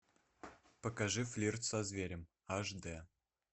покажи флирт со зверем аш дэ